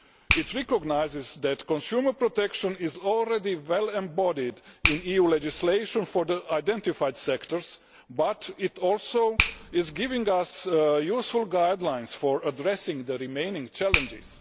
It recognises that consumer protection is already well embodied in EU legislation for the sectors identified, but it also gives us useful guidelines for addressing the remaining challenges.